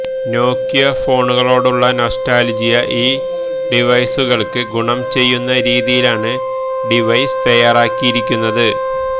നോക്കിയ ഫോണുകളോടുള്ള നൊസ്റ്റാൾജിയ ഈ ഡിവൈസുകൾക്ക് ഗുണം ചെയ്യുന്ന രീതിയിലാണ് ഡിവൈസ് തയ്യാറാക്കിയിരിക്കുന്നത്